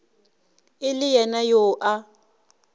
e le yena yo a